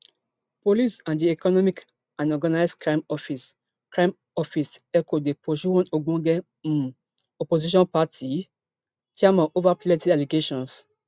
police and di economic and organised crime office crime office eoco dey pursue one ogbonge um opposition party chairman ova plenti allegations